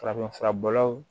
Farafinfura bɔlaw